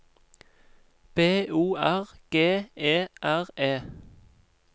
B O R G E R E